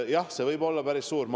Jah, see võib olla päris suur ring.